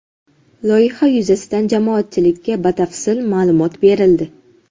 Loyiha yuzasidan jamoatchilikka batafsil ma’lumot berildi.